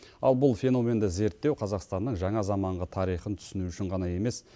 ал бұл феноменді зерттеу қазақстанның жаңа заманғы тарихын түсіну үшін ғана емес